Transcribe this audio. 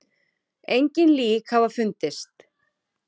Engin lík hafa fundist